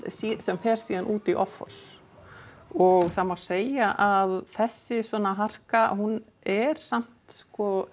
sem fer síðan út í offors og það má segja að þessi harka hún er samt